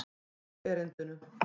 Ég stundi upp erindinu.